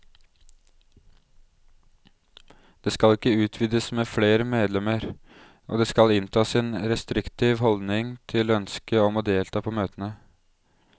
Det skal ikke utvides med flere medlemmer, og det skal inntas en restriktiv holdning til ønske om å delta på møtene.